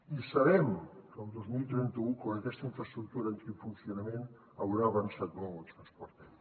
i sabem que el dos mil trenta u quan aquesta infraestructura entri en funcionament haurà avançat molt el transport aeri